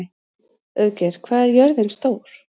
Auðgeir, hvað er jörðin stór?